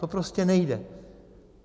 To prostě nejde.